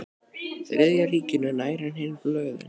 Þriðja ríkinu nær en hin blöðin.